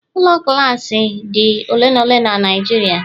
Ụlọ Glassi dị ole na ole na Nijiria